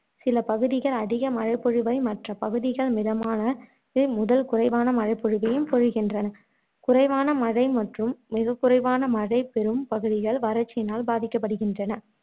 சில பகுதிகள் அதிக மழைப்பொழிவை மற்ற பகுதிகள் மிதமானது முதல் குறைவான மழைபொழிவையும் பொழிகின்றன குறைவான மழை மற்றும் மிகக்குறைவான மழை பெறும் பகுதிகள் வறட்சியினால் பாதிக்கப்படுகின்றன